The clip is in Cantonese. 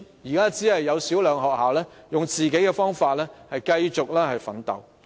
現時只有少數學校以自己的方法繼續奮鬥。